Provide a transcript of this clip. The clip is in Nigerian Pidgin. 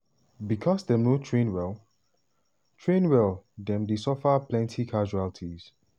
becos dem no train well train well dem dey suffer plenty casualties.